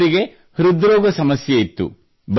ಇವರಿಗೆ ಹೃದ್ರೋಗ ಸಮಸ್ಯೆ ಇತ್ತು